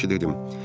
Yaxşı dedim.